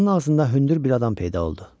Qapının ağzında hündür bir adam peyda oldu.